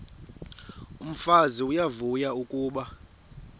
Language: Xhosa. umfazi uyavuya kuba